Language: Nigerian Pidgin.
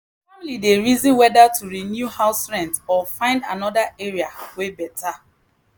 family dey reason whether to renew house rent or find another area wey better.